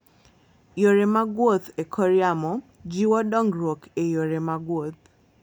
Yore mag wuoth e kor yamo jiwo dongruok e yore mag wuoth.